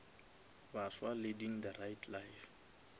baswa leading the right life